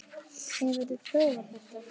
Hefurðu prófað þetta?